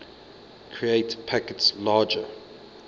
create packets larger